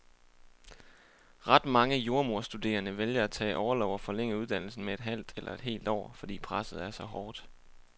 Ret mange jordemoderstuderende vælger at tage orlov og forlænge uddannelsen med et halvt eller et helt år, fordi presset er så hårdt.